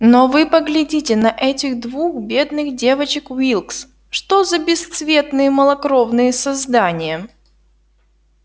но вы поглядите на этих двух бедных девочек уилкс что за бесцветные малокровные создания